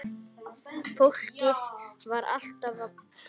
Fólkið var alltaf að flytja.